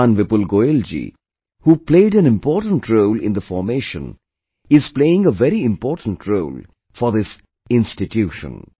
Shriman Vipul Goyal ji, who played an important role in the formation, is playing a very important role for this institution